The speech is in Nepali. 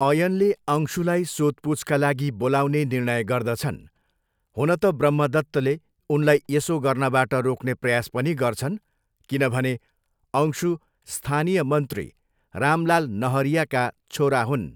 अयनले अंशुलाई सोधपुछका लागि बोलाउने निर्णय गर्दछन्, हुन त ब्रह्मदत्तले उनलाई यसो गर्नबाट रोक्ने प्रयास पनि गर्छन् किनभने अंशु स्थानीय मन्त्री रामलाल नहरियाका छोरा हुन्।